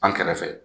An kɛrɛfɛ